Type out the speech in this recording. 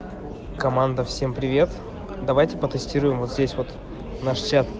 команда всем привет давайте по тестируем вот здесь вот наш чат